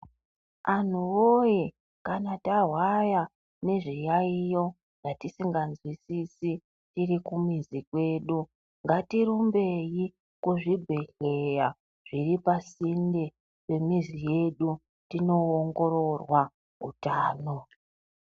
Anhuwoye kana tahwaya ne zviyayiyo zvatisinganzwisisi tirikumizi kwedu ngatirumbe kuzvibhehleya zviripasinde nemizi yedu tinoongororwa utano